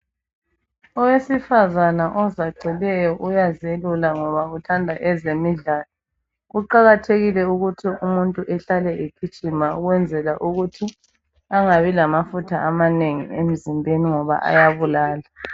Owesifazana ozacileyo uyazelula ngoba uthanda ezemidlalo. Kuqakathekile ukuthi umuntu ehlale egijima ukwenzela ukuthi angabi lamafutha amanengi emzimbeni ngoba ayabulala.